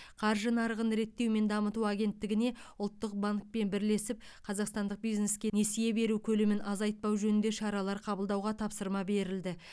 қаржы нарығын реттеу және дамыту агенттігіне ұлттық банкпен бірлесіп қазақстандық бизнеске несие беру көлемін азайтпау жөнінде шаралар қабылдауға тапсырма берілді